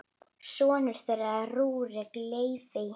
Sonur þeirra er Rúrik Leví.